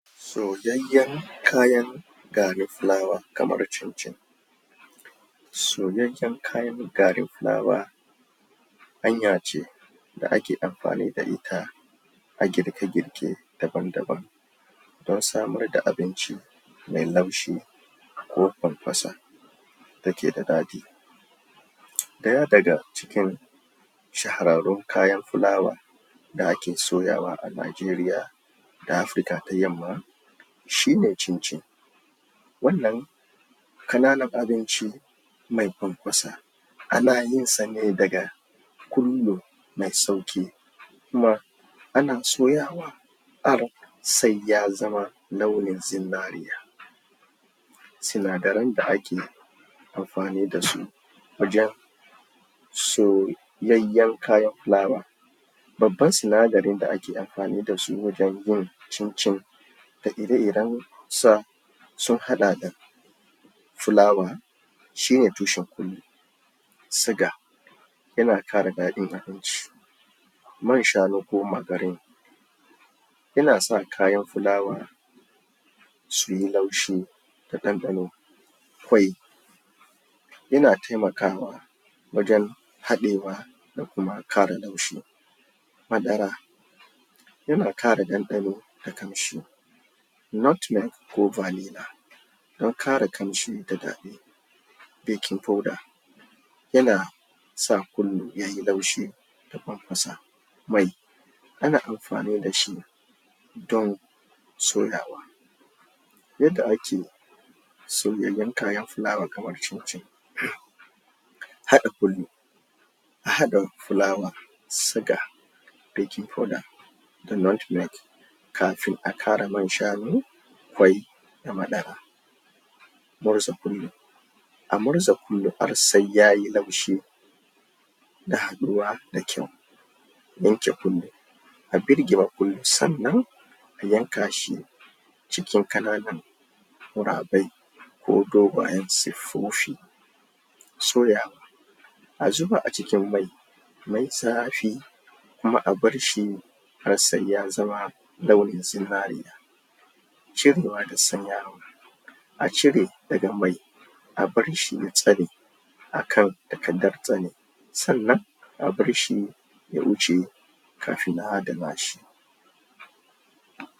Soyayyen kayan garin fulawa kamar cin-cin. Soyayyen kayan garin fulawa hanya ce da ake amfani da ita a girke-girke daban daban don samar da abinci mai laushi ko farfasa dake da daɗi. Ɗaya daga cikin shahararrun kayan fulawa da ake soyawa a Najeriya da Afurka ta yamma shine cin-cin wannan ƙananan abinci mai farfasa ana yin sa ne daga ƙullu sai sauƙi kuma ana soyawa har sai ya zama launin zinariya sinadaran da ake amfani da su wajen soyayyen kayan fulawa babban sindaran da ake amfani da su wajen yin cin-cin da ire-irensa sun haɗa da fulawa shine tushen ƙullun suga yana ƙara daɗin abinci man shanu ko margarine yana sa kayan fulawa suyi laushi da ɗanɗano ƙwai yana taimakawa wajen haɗewa da kuma ƙara laushi madara yana ƙara ɗandano da ƙamshi Nutmeg ko Vanilla don ƙara ƙamshi da daɗi Baking powder yana sa ƙullu yayi laushi da fanfasa Mai ana amfani da shi don soyawa Yadda ake Yadda ake soyyayen kayan fulawa kamar cin-cin. Kada ƙullu. A haɗa fulawa, suga, baking powder, da nutmeg kafin a ƙara man shanu, ƙwai, da madara Murza ƙullu A murza ƙullu har sai yayi laushi da haɗuwa da kyau Yanka ƙullu A birgima ƙullu sannan a yanka shi ' cikin ƙananan ƙurabai ko dogayen siffofi Soyawa A zuba a cikin mai mai zafi kuma a bar shi har sai ya zama launin zinariya cirewa da sanyawa a cire daga mai a bar shi ya tsane a kan takardar tsane sannan a barshi ya huce kafin a adana shi.